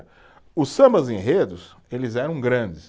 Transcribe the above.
Os sambas-enredos, eles eram grandes.